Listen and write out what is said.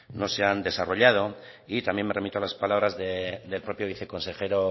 no se han desarrollado también me remito a las palabras del propio viceconsejero